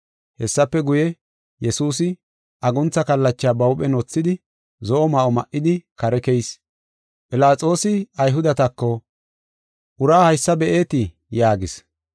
Hessafe guye, Yesuusi aguntha kallacha ba huuphen wothidi, zo7o ma7o ma7idi, kare keyis. Philaxoosi Ayhudetako, “Uraa haysa be7ite” yaagis.